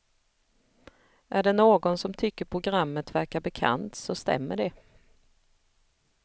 Är det någon som tycker programmet verkar bekant så stämmer det.